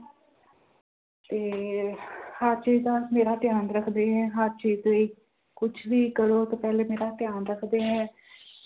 ਤੇ ਹਰ ਚੀਜ਼ ਦਾ ਮੇਰਾ ਧਿਆਨ ਰੱਖਦੇ ਹੈ, ਹਰ ਚੀਜ਼ ਲਈ ਕੁਛ ਵੀ ਕਰੋ ਤੇ ਪਹਿਲੇ ਮੇਰਾ ਧਿਆਨ ਰੱਖਦੇ ਹੈ।